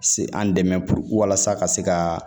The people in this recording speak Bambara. Se an dɛmɛ walasa ka se ka